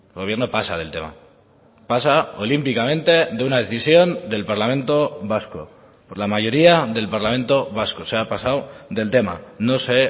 gobierno pasa del tema pasa olímpicamente de una decisión del parlamento vasco por la mayoría del parlamento vasco se ha pasado del tema no se